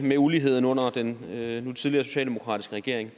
med uligheden under den nu tidligere socialdemokratiske regering